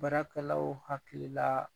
Baarakɛlaw hakili la